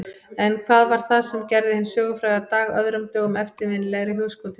En hvað var það sem gerði hinn sögufræga dag öðrum dögum eftirminnilegri í hugskoti mínu?